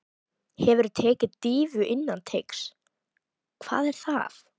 Hefurðu tekið dýfu innan teigs: Hvað er það?